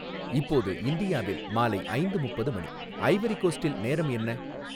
இப்போது இந்தியாவில் மாலை ஐந்து முப்பது மணி ஐவரி கோஸ்ட்டில் நேரம் என்ன